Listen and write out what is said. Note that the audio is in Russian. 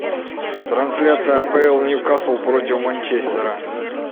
трансляция апл ньюкасл против манчестера